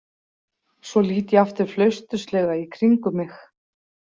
Svo lít ég aftur flausturslega í kringum mig.